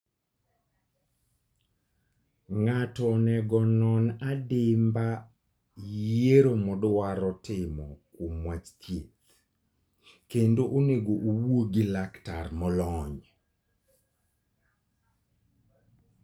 Ng'ato onego onon adimba yiero modwaro timo kuom wach thieth, kendo onego owuo gi laktar molony.